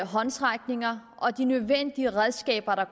håndsrækninger og de nødvendige redskaber der